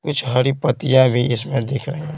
कुछ हरी पत्तियां भी इसमें दिख रही है।